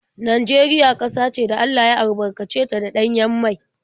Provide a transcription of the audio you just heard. Najeriya ƙasa ce da Allah ya albarkace ta da ɗanyen mai.